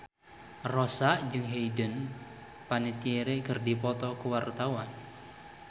Rossa jeung Hayden Panettiere keur dipoto ku wartawan